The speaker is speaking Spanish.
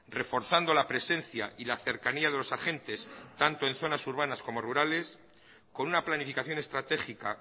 reforzando la presencia y la cercanía de los agentes tanto en zonas urbanas como rurales con una planificación estratégica